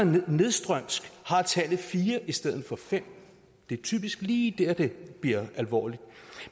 nedstrøms har tallet fire i stedet for femte det er typisk lige der det bliver alvorligt